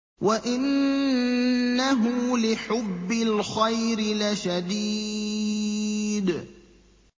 وَإِنَّهُ لِحُبِّ الْخَيْرِ لَشَدِيدٌ